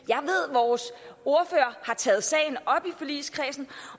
vores ordfører har taget sagen op i forligskredsen